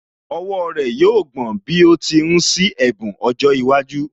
Ọwọ́ rẹ̀ yóò gbọ̀n bí ó ti ń ṣí ẹ̀bùn ọjọ́ iwájú